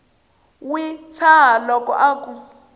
wi tshaha loko a ku